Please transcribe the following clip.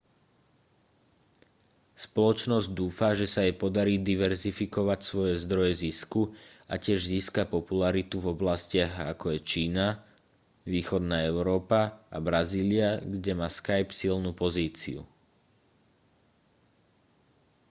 spoločnosť dúfa že sa jej podarí diverzifikovať svoje zdroje zisku a tiež získa popularitu v oblastiach ako je čína východná európa a brazília kde má skype silnú pozíciu